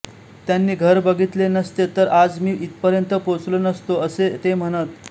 त्यांनी घर बघितले नसते तर आज मी इथपर्यंत पोचलो नसतो असे ते म्हणत